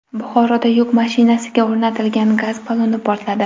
Buxoroda yuk mashinasiga o‘rnatilgan gaz balloni portladi.